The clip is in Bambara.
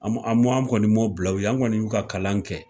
An kɔni ma o bila u ye, an kɔni y'u ka kalan kɛ.